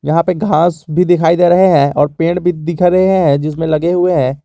यहां पे घास भी दिखाई दे रहे हैं और पेड़ भी दिख रहे हैं जिसमें लगे हुए हैं।